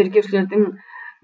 тергеушілердің